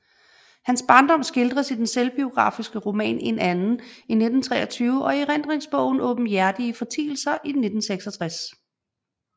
Hans barndom skildres i den selvbiografiske roman En Anden 1923 og i erindringsbogen Aabenhjertige Fortielser 1966